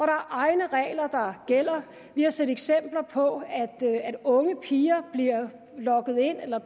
egne regler der gælder vi har set eksempler på at unge piger bliver lokket ind i eller